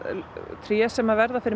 tré sem verða fyrir